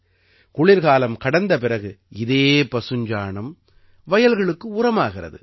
குளிர்காலம் கடந்த பிறகு இதே பசுஞ்சாணம் வயல்களுக்கு உரமாகிறது